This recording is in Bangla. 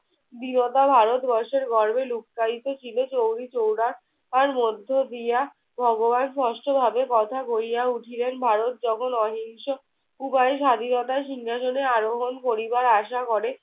বিগত ভারতবর্ষের গর্ভে লুকাইতে ছিল। চৌরিচৌরার মধ্য দিয়া ভগবান স্পষ্টভাবে কথা কইয়া উঠিলেন। ভারত যখন অহিংস উভয়ই স্বাধীনতার সিংহাসনে আরোহণ করিবার আশা করে।